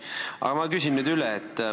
Aga ma küsin üle.